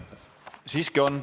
Siiski on.